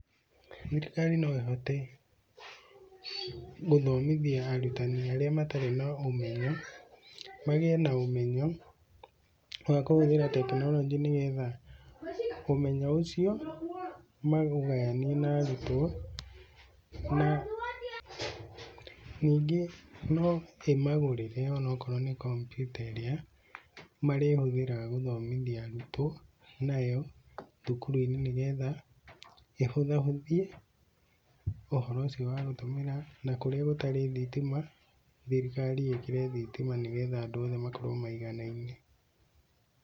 Thirikari no ĩhote gũthomithia arutani arĩa matarĩ na ũmenyo, magĩe na ũmenyo wa kũhuthĩra tekinoronjĩ nĩ getha ũmenyo ũcio maũgayanie na arutwo. Na ningĩ no imagũrĩre onakorwo ni kompiuta ĩrĩa marĩhũthĩraga gũthomithia arutwo nayo thukuru-ini, nĩ getha ĩhũthahũthie ũhoro ũcio wa gũtũmĩra na, kũrĩa gũtarĩ thitima, thirikari ĩkĩre thitima nĩ getha andũ othe makorwo maiganaine.